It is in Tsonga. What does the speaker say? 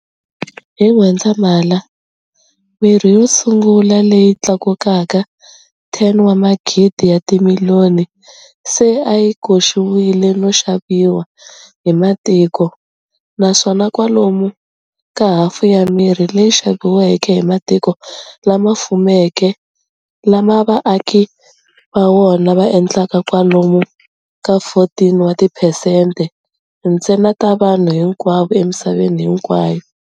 Hi N'wendzamhala, mirhi yo tshungula leyi tlulaka 10 wa magidi ya timiliyoni se a yi koxiwile no xaviwa hi matiko, naswona kwalomu ka hafu ya mirhi leyi xaviweke hi matiko lama fuweke lama vaaki va wona va endlaka kwalomu ka 14 wa tiphesente ntsena ta vanhu hinkwavo emisaveni hinkwayo.